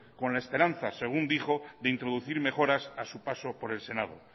con la esperanza según dijo de introducir mejoras a su paso por el senado